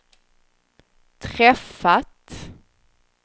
träffat